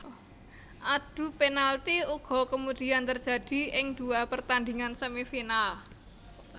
Adu penalti uga kemudian terjadi ing dua pertandhingan Semifinal